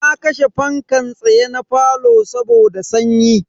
Na kashe fankan tsaye na falo saboda sanyi.